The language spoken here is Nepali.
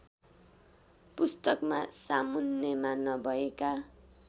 पुस्तकमा सामुन्नेमा नभएका